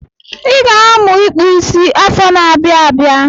I ga-amụ ịkpụ isi afọ n'abia abịa.